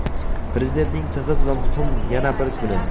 Prezidentning tig‘iz va muhim yana bir kuni.